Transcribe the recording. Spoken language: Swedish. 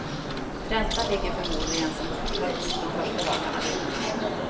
Räntan ligger förmodligen som högst de första dagarna.